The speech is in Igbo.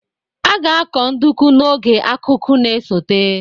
A ga-akọ nduku n'oge akuku na-esote